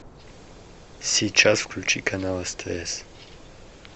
сейчас включи канал стс